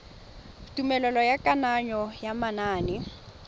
tumelelo ya kananyo ya manane